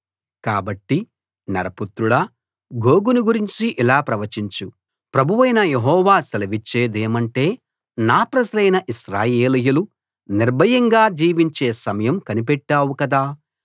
కాబట్టి నరపుత్రుడా గోగును గూర్చి ఇలా ప్రవచించు ప్రభువైన యెహోవా సెలవిచ్చేదేమంటే నా ప్రజలైన ఇశ్రాయేలీయులు నిర్భయంగా జీవించే సమయం కనిపెట్టావు కదా